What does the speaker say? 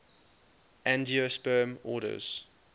angiosperm orders